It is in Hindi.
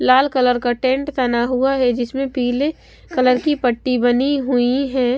लाल कलर का टेंट बना हुआ है जिसमें पीले कलर की पट्टी बनी हुई है।